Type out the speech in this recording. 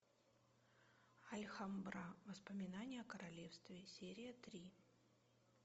альгамбра воспоминания о королевстве серия три